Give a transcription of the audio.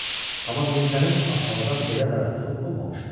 Amma Mirzənin ab-havadan belə darıxdığı olmamışdı.